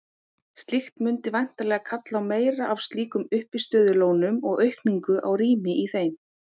Slíkt mundi væntanlega kalla á meira af slíkum uppistöðulónum og aukningu á rými í þeim.